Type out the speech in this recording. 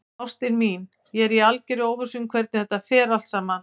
Ástin mín, ég er í algerri óvissu um hvernig þetta fer allt saman.